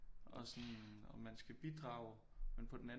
Og sådan og man skal bidrage men på den anden